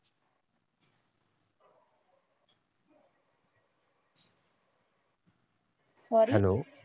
hello